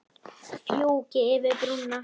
Fjúki yfir brúna.